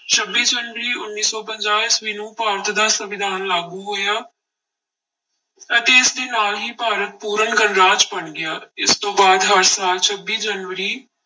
ਛੱਬੀ ਜਨਵਰੀ ਉੱਨੀ ਸੌ ਪੰਜਾਹ ਈਸਵੀ ਨੂੰ ਭਾਰਤ ਦਾ ਸੰਵਿਧਾਨ ਲਾਗੂ ਹੋਇਆ ਅਤੇ ਇਸਦੇ ਨਾਲ ਹੀ ਭਾਰਤ ਪੂਰਨ ਗਣਰਾਜ ਬਣ ਗਿਆ, ਇਸ ਤੋਂ ਬਾਅਦ ਹਰ ਸਾਲ ਛੱਬੀ ਜਨਵਰੀ